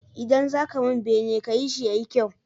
Idan zaka mun bene kayi shi yayi kyau